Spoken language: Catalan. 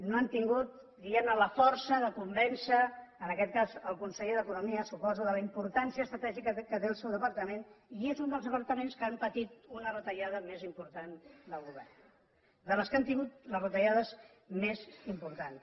no han tingut diguem ne la força de convèncer en aquest cas el conseller d’economia suposo de la importància estratègica que té el seu departament i és un dels departaments que han patit una retallada més important del govern dels que han tingut les retallades més importants